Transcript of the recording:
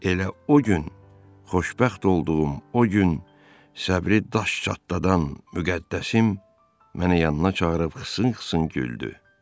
Elə o gün xoşbəxt olduğum o gün səbri daş çatladan müqəddəsim məni yanına çağırıb xısın-xısın güldü.